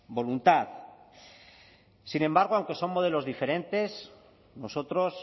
voluntad sin embargo aunque son modelos diferentes nosotros